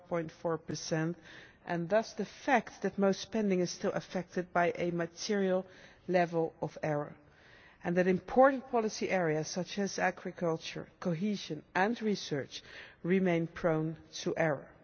4.4 and thus the fact that most spending is still affected by a material level of error, and that important policy areas such as agriculture, cohesion and research remain prone to error.